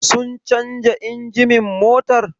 Sun canja injimin motar?